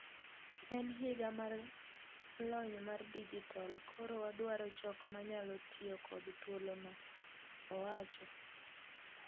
En higa mar lony mar dijitol koro wadwaro jok manyalo tiyo kod thuolo no :,owacho